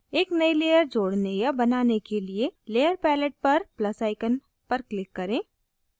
एक नयी layer जोड़ने या बनाने के लिए layer palette पर plus icon पर click करें